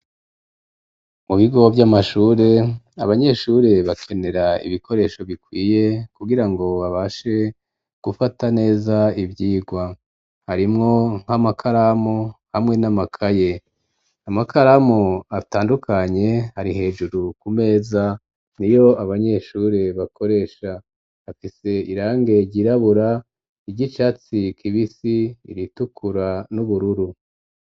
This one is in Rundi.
Mu bigo vy'amashure, abanyeshure bakenera ibikoresho bikwiye, kugira ngo babashe gufata neza ivyigwa; harimwo nk'amakaramu hamwe n'amakaye, amakaramu atandukanye ari hejuru ku meza, niyo abanyeshure bakoresha; afise irangi ryirabura, iry'icatsi kibisi, iritukura n'ubururu.